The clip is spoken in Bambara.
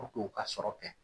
u ka sɔrɔ kɛ